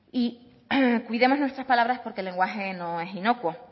y cuidemos nuestras palabras porque el lenguaje no es inocuo